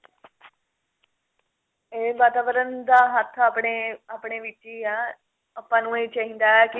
ਇਹ ਵਾਤਾਵਰਨ ਦਾ ਹੱਥ ਆਪਣੇ ਆਪਣੇ ਵਿੱਚ ਹੀ ਆ